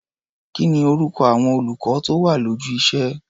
Kí ni orúkọ àwọn olùkọ́ tó wà lójú iṣé?